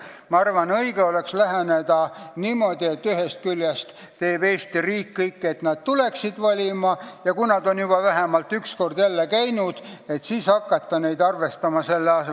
Ma arvan, õige oleks läheneda niimoodi, et ühest küljest teeb Eesti riik kõik, et nad tuleksid valima, ja kui nad on juba vähemalt üks kord jälle valimas käinud, siis tuleks hakata neid arvestama.